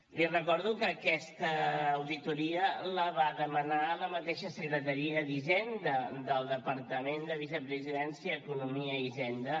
li recordo que aquesta auditoria la va demanar la mateixa secretaria d’hisenda del departament de la vicepresidència i d’economia i hisenda